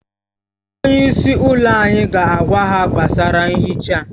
Onye isi ụlọ anyị ga-agwa ha gbasara nhicha